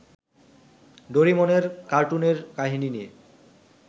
ডোরিমনের কার্টুনের কাহিনী নিয়ে